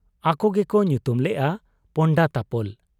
ᱟᱠᱚ ᱜᱮᱠᱚ ᱧᱩᱛᱩᱢ ᱞᱮᱜ ᱟ ᱯᱚᱱᱰᱟᱛᱟᱯᱚᱞ ᱾